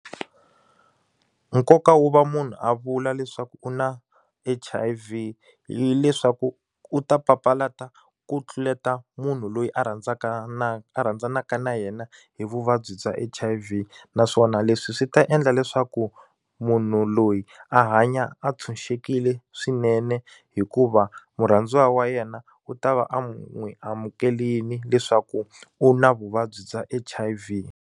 Nkoka wo va munhu a vula leswaku u na H_I_V hileswaku u ta papalata ku tluleta munhu loyi a rhandzaka na a rhandzanaka na yena hi vuvabyi bya H_I_V naswona leswi swi ta endla leswaku munhu loyi a hanya a tshunxekile swinene hikuva murhandziwa wa yena u ta va a n'wi amukerile leswaku u na vuvabyi bya H_I_V.